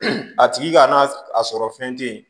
A tigi k'a sɔrɔ fɛn te yen